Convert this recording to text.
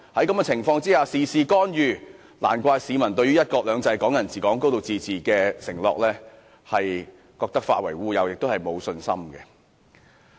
中央事事干預，難怪市民覺得"一國兩制"、"港人治港"、"高度自治"的承諾化為烏有，對其沒有信心。